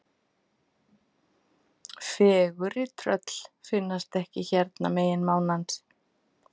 Fegurri tröll finnast ekki hérna megin mánans.